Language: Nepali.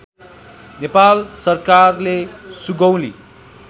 नेपाल सरकारले सुगौली